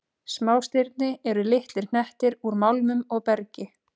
Smástirni eru litlir hnettir úr málmum og bergi.